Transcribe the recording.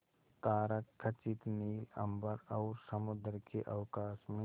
तारकखचित नील अंबर और समुद्र के अवकाश में